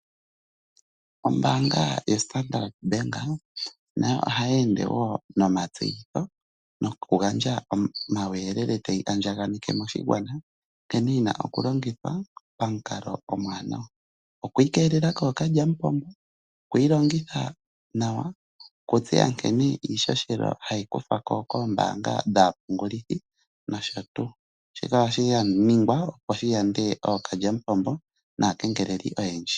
Ombaanga yo Standard bank nayo oha yeende wo nomatseyitho nokugandja omauyelele tayi andjakaneke moshigwana. Nkene yina okulongithwa pamukalo omuwanawa, okwiikelela kookalyamupombo, okuyi longitha nawa, okutseya nkene iihohela hayi kuthwako koombanga dhaapungulithi nosho tuu. Shika ohashi ningwa opo shi yande ookalyamupombo naakengeleli oyendji.